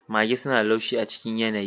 Mage suna da laushi a cikin yanayi.